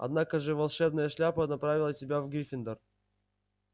однако же волшебная шляпа направила тебя в гриффиндор